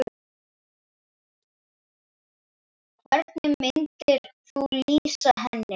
Hvernig myndir þú lýsa henni?